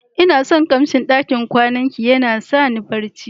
lna son kamsin ɗakin kwanan ki, yana sa ni barci.